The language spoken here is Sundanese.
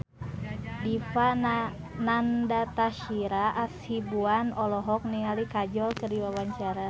Dipa Nandastyra Hasibuan olohok ningali Kajol keur diwawancara